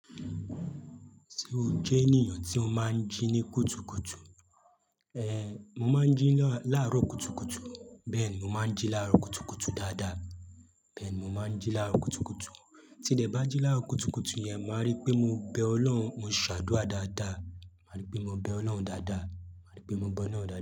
Ṣé o jẹ́ ènìyàn tí o máa ń jí ní kùtùkùtù? Ehn, mo máa ń jí láàárọ̀ kùtùkùtù, bẹ́ẹ̀ni mo máa ń jí láàárọ̀ kùtùkùtù dáadáa, bẹ́ẹ̀ni mo máa ń jí láàárọ̀ kùtùkùtù. Tí dẹ̀ bá jí láàárọ̀ kùtùkùtù yẹn, máa rí pé mo bẹ Ọlọ́run, mo ṣàdúrà dáadáa, máa rí pé mo bẹ Ọlọ́run dáadáa, máa rí pé mo be ọ́loun dáadáa.